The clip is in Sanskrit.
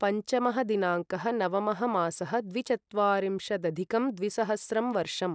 पञ्चमः दिनाङ्कः नवमः मासः द्विचत्वारिंशदधिकं द्विसहस्रं वर्षम्